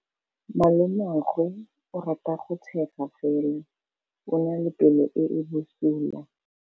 Malomagwe o rata go tshega fela o na le pelo e e bosula.